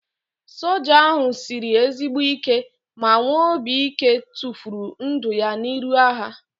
Soja ahu sịrị ezigbo ike ma nwee obi ike tụfuru ndụ ya n'iru agha